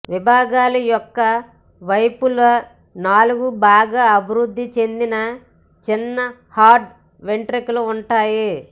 విభాగాలు యొక్క వైపులా నాలుగు బాగా అభివృద్ధి చెందిన చిన్న హార్డ్ వెంట్రుకల ఉన్నాయి